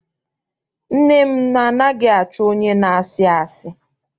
Nne m anaghị achọ onye na-asị asị.